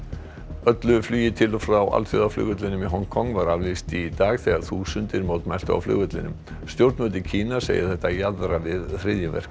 öllu flugi til og frá alþjóðaflugvellinum í Hong Kong var aflýst í dag þegar þúsundir mótmæltu á flugvellinum stjórnvöld í Kína segja þetta jaðra við hryðjuverk